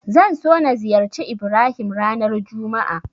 Zan so na ziyarci Ibrahim ranar juma'a.